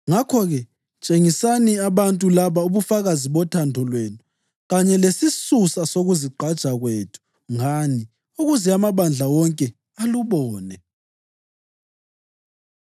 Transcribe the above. Ngakho-ke, tshengisani abantu laba ubufakazi bothando lwenu kanye lesisusa sokuzigqaja kwethu ngani, ukuze amabandla wonke alubone.